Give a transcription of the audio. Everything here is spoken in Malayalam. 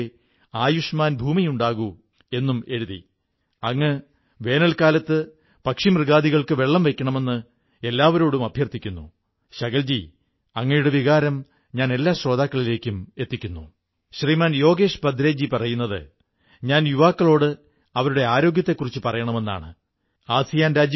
ചിലരില്ലെങ്കിൽ നമ്മുടെ ജീവിതം പ്രയാസമുള്ളതായിരുന്നേനേ എന്നു തോന്നുന്ന ചിലരുടെ കാര്യം നാം ഓർക്കണം ശുചീകരണജീവനക്കാർ വീട്ടിൽ ജോലിക്കായി വരുന്ന സഹോദരീസഹോദരൻമാാർ പ്രാദേശിക പച്ചക്കറി കച്ചവടക്കാർ പാൽക്കാർ സുരക്ഷാ ജീവനക്കാർ തുടങ്ങിയവർക്കൊക്കെ നമ്മുടെ ജീവിതത്തിൽ എന്താണ് പങ്ക് എന്ന് നാം ഇപ്പോൾ നന്നായി മനസ്സിലാക്കിയിരിക്കുന്നു